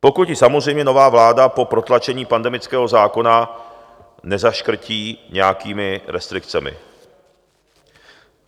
Pokud ji samozřejmě nová vláda po protlačení pandemického zákona nezaškrtí nějakými restrikcemi.